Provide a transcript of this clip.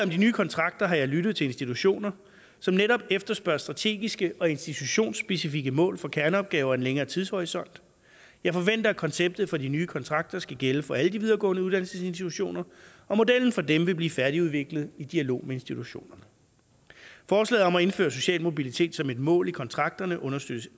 de nye kontrakter har jeg lyttet til institutioner som netop efterspørger strategiske og institutionsspecifikke mål for kerneopgaver med en længere tidshorisont jeg forventer at konceptet for de nye kontrakter skal gælde for alle de videregående uddannelsesinstitutioner og modellen for dem vil blive færdigudviklet i dialog med institutionerne forslaget om at indføre social mobilitet som et mål i kontrakterne understøtter